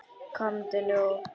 Komdu nú!